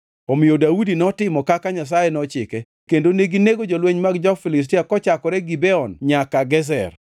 Omiyo Daudi notimo kaka Nyasaye nochike kendo neginego jolweny mag jo-Filistia kochakore Gibeon nyaka Gezer.